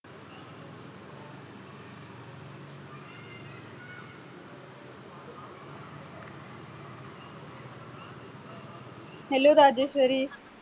hello Rajshri